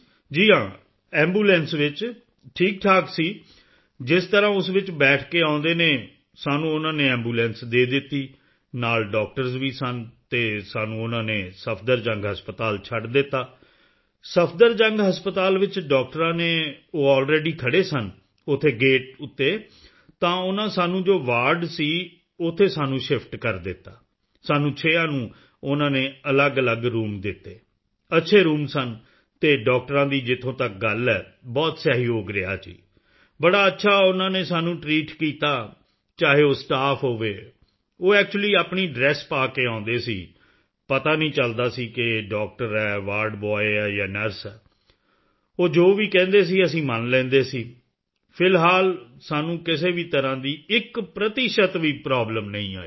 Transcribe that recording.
ਜੀ ਹਾਂ ਐਂਬੂਲੈਂਸ ਵਿੱਚ ਠੀਕਠਾਕ ਸੀ ਜਿਸ ਤਰ੍ਹਾਂ ਉਸ ਵਿੱਚ ਬੈਠ ਕੇ ਆਉਂਦੇ ਹਨ ਸਾਨੂੰ ਉਨ੍ਹਾਂ ਨੇ ਐਂਬੂਲੈਂਸ ਦੇ ਦਿੱਤੀ ਨਾਲ ਡਾਕਟਰਜ਼ ਵੀ ਸਨ ਅਤੇ ਸਾਨੂੰ ਉਨ੍ਹਾਂ ਨੇ ਸਫਦਰਜੰਗ ਹਸਪਤਾਲ ਛੱਡ ਦਿੱਤਾ ਸਫਦਰਜੰਗ ਹਸਪਤਾਲ ਵਿੱਚ ਡਾਕਟਰਾਂ ਨੇ ਉਹ ਅਲਰੈਡੀ ਖੜ੍ਹੇ ਸਨ ਉੱਥੇ ਗੇਟ ਉੱਤੇ ਤਾਂ ਉਨ੍ਹਾਂ ਸਾਨੂੰ ਜੋ ਵਾਰਡ ਸੀ ਉੱਥੇ ਸਾਨੂੰ ਸ਼ਿਫਟ ਕਰ ਦਿੱਤਾ ਸਾਨੂੰ ਛੇਆਂ ਨੂੰ ਉਨ੍ਹਾਂ ਨੇ ਅਲੱਗਅਲੱਗ ਰੂਮ ਦਿੱਤੇ ਅੱਛੇ ਰੂਮ ਸਨ ਸਭ ਕੁਝ ਸੀ ਤਾਂ ਸਰ ਫੇਰ ਅਸੀਂ 14 ਦਿਨ ਹਸਪਤਾਲ ਇੱਕਲੇ ਰਹੇ ਸੀ ਅਤੇ ਡਾਕਟਰਾਂ ਦੀ ਜਿੱਥੋਂ ਤੱਕ ਗੱਲ ਐ ਬਹੁਤ ਸਹਿਯੋਗ ਰਿਹਾ ਜੀ ਬੜਾ ਅੱਛਾ ਉਨ੍ਹਾਂ ਨੇ ਸਾਨੂੰ ਟ੍ਰੀਟ ਕੀਤਾ ਚਾਹੇ ਉਹ ਸਟਾਫ ਹੋਵੇ ਉਹ ਐਕਚੁਅਲੀ ਆਪਣੀ ਡ੍ਰੈਸ ਪਾ ਕੇ ਆਉਂਦੇ ਸੀ ਪਤਾ ਨਹੀਂ ਚੱਲਦਾ ਸੀ ਕਿ ਇਹ ਡਾਕਟਰ ਹੈ ਵਾਰਡ ਬੋਏ ਜਾਂ ਨਰਸ ਉਹ ਜੋ ਵੀ ਕਹਿੰਦੇ ਸਨ ਅਸੀਂ ਮਨ ਲੈਂਦੇ ਸੀ ਫਿਲਹਾਲ ਸਾਨੂੰ ਕਿਸੇ ਵੀ ਤਰ੍ਹਾਂ ਦੀ ਇੱਕ ਪ੍ਰਤੀਸ਼ਤ ਵੀ ਪ੍ਰੋਬਲਮ ਨਹੀਂ ਆਈ